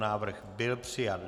Návrh byl přijat.